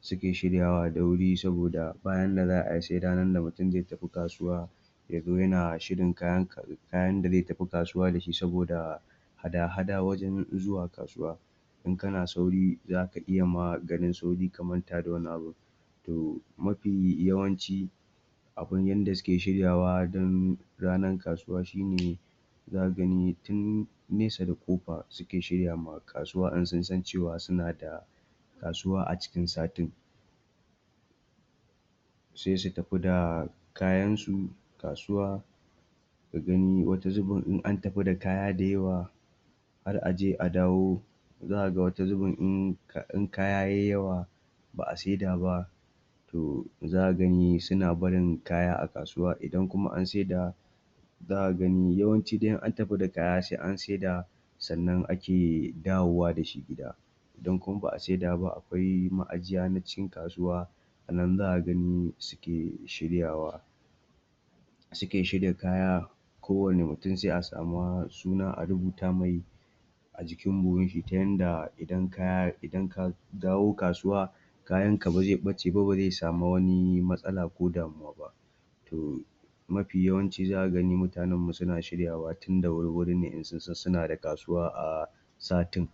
suke shiryawa da wuri saboda ba yanda za ai sai ranar da mutum zai tafi kasuwa ya zo yana shirin kayansa kayan da zai tafi kasuwa da shi saboda hada-hada wajen zuwa kasuwa in kana sauri za ka iya ma garin sauri ka manta da wani abun. To mafi yawanci, abun yanda suke shiryawa don ranar kasuwa shine zaka gani tun nesa da ƙofa suke shirya ma kasuwa in sun san cewa suna kasuwa a cikin satin. sai su tafi da kayansu, kasuwa su gani, wata zubin in an tafi da kaya da yawa, har a je a dawo, za ka ga wata zubin in kaya yai yawa ba a sai da ba, to za ka gani to suna barin kaya a kasuwa idan kuma an saida za ka gani, yawanci dai in an tafi da kaya sai an saida sannan ake dawowa da shi gida idan kuma ba'a saida ba akwai ma'ajiya na cikin kasuwa anan za ka ganin suke shiryawa. suke shirya kaya ko wanne mutum sai a sama suna a rubuta mai, cikin buhun shi ta inda idana kaya ya dawo kasuwa, kayanka ba zai ɓace ba zai sami wata matsala ba To, mafi yaanci za ka gani mutanenmu suna shiryawa tun da wuri-wuri in sun san suna da kasuwa satin.